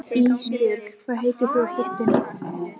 Ísbjörg, hvað heitir þú fullu nafni?